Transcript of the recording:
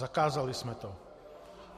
Zakázali jsme to.